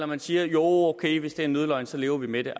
man siger joh ok hvis det er en nødløgn så lever vi med det